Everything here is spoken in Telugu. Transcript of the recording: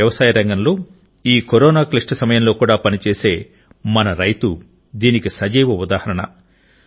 మన వ్యవసాయ రంగంలో ఈ కరోనా క్లిష్ట సమయంలో కూడా పనిచేసే మన రైతు దీనికి సజీవ ఉదాహరణ